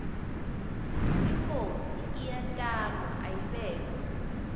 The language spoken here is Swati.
inkhosi iyatalwa ayibekwa